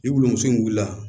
Ni wurunmuso in wuli la